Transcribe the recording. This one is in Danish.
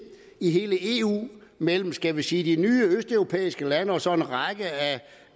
i hele eu mellem skal vi sige de nye østeuropæiske lande og så en række af